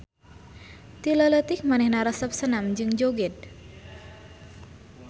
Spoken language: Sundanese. Ti leuleutik manehna resep senam jeung joged.